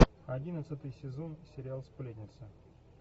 одиннадцатый сезон сериал сплетницы